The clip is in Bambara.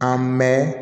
An mɛn